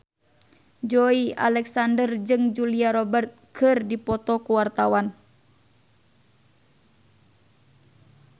Joey Alexander jeung Julia Robert keur dipoto ku wartawan